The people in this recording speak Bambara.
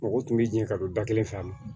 Mɔgɔ tun bɛ jɛn ka don da kelen fɛ a